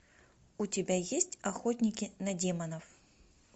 у тебя есть охотники на демонов